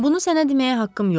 Bunu sənə deməyə haqqım yoxdur.